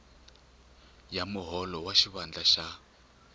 ya muholo wa xivandla xa